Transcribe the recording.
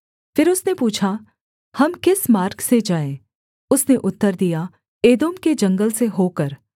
फिर उसने पूछा हम किस मार्ग से जाएँ उसने उत्तर दिया एदोम के जंगल से होकर